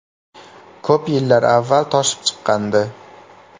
Ko‘p yillar avval toshib chiqqandi.